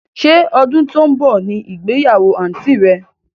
Sé ọdún tó ń bọ̀ ní ìgbéyàwó àǹtí rẹ?